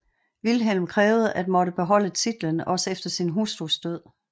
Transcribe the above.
Vilhelm krævede at måtte beholde titlen også efter sin hustrus død